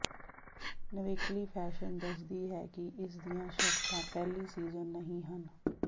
ਨਿਵੇਕਲੀ fashion ਦੱਸਦੀ ਹੈ ਕਿ ਇਸ ਦੀਆਂ ਸ਼ਰਤਾਂ ਪਹਿਲੀ ਸੀਜ਼ਨ ਨਹੀਂ ਹਨ